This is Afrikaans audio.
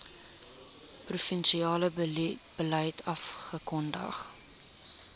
provinsiale beleid afgekondig